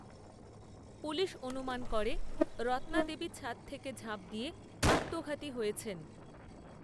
police অনুমান করে, রত্নাদেবী ছাদ থেকে ঝাঁপ দিয়ে আত্মঘাতী হয়েছেন